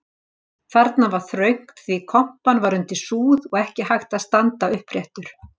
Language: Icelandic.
Þarna var þröngt því kompan var undir súð og ekki hægt að standa uppréttur.